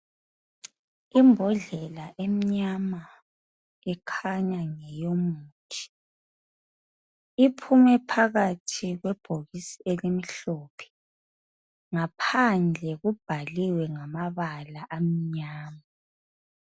Imbodlela emnyama ekhanya ngeyomuthi iphume phakathi kwebhokisi elimhlophe ngaphandle kubhaliwe ngamabala amnyama